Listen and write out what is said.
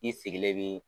I sigilen bɛ